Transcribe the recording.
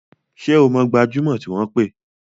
Ṣé o mọ gbajúmọ̀ tí wọ́n pè?